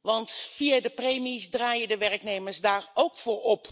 want via de premies draaien de werknemers daar ook voor op.